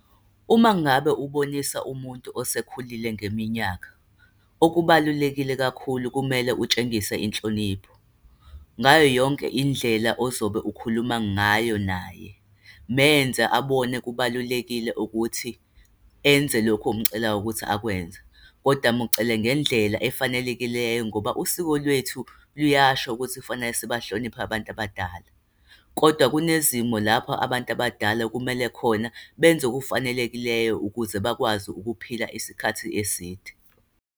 Uma ngabe ubonisa umuntu osekhulile ngeminyaka, okubalulekile kakhulu, kumele utshengise inhlonipho. Ngayoyonke indlela ozobe ukhuluma ngayo naye, menze abone kubalulekile ukuthi enze lokhu omcelayo ukuthi akwenza, kodwa mucele ngendlela efanelekileyo. Ngoba usiko lwethu liyasho ukuthi kufanele sibahlonipha abantu abadala. Kodwa kunezimo lapho abantu abadala kumele khona benze okufanelekileyo ukuze bakwazi ukuphila isikhathi eside.